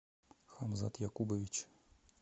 хамзат якубович